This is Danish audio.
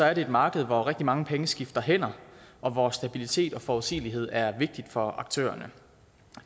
er det et marked hvor rigtig mange penge skifter hænder og hvor stabilitet og forudsigelighed er vigtigt for aktørerne